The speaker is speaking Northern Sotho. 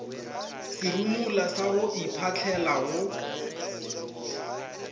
serumula sa go iphahlela go